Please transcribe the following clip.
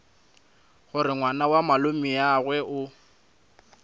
gore ngwana wa malomeagwe o